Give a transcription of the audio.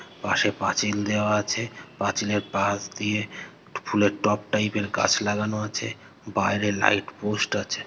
পাশে পাঁচিল দেওয়া আছে পাঁচিলের পাশ দিয়ে ফু ফুলের টব টাইপের গাছ লাগানো আছে বাইরে লাইট পোস্ট আছে